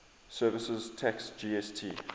services tax gst